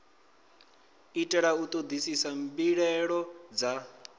itela u ṱoḓisisa mbilaelo dza